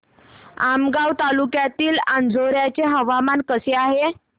आमगाव तालुक्यातील अंजोर्याचे हवामान कसे आहे